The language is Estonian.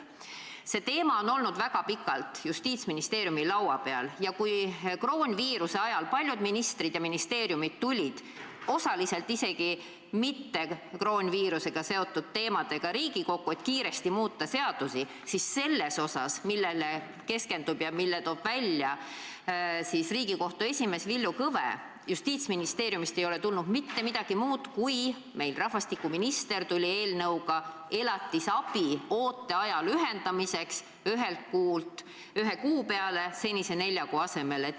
" See teema on olnud väga pikalt Justiitsministeeriumi laual ja kui koroonaviiruse ajal paljud ministrid ja ministeeriumid tulid osaliselt isegi mitte koroonaviirusega seotud teemadega Riigikokku, et kiiresti muuta seadusi, siis sellel teemal, millele keskendub ja mille toob esile Riigikohtu esimees Villu Kõve, ei ole Justiitsministeeriumist tulnud mitte midagi muud kui see, et rahvastikuminister tuli eelnõuga elatisabi ooteaja lühendmiseks ühe kuu peale senise nelja kuu asemel.